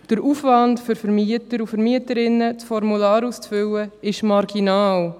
Der Aufwand für Vermieter und Vermieterinnen, das Formular auszufüllen, ist marginal.